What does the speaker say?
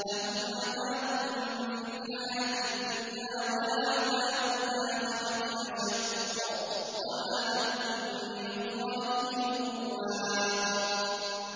لَّهُمْ عَذَابٌ فِي الْحَيَاةِ الدُّنْيَا ۖ وَلَعَذَابُ الْآخِرَةِ أَشَقُّ ۖ وَمَا لَهُم مِّنَ اللَّهِ مِن وَاقٍ